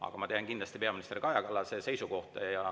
Aga ma tean kindlasti peaminister Kaja Kallase seisukohta.